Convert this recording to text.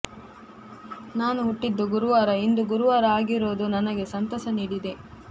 ನಾನು ಹುಟ್ಟಿದ್ದು ಗುರುವಾರ ಇಂದು ಗುರುವಾರ ಆಗಿರೋದು ನನಗೆ ಸಂತಸ ನೀಡಿದೆ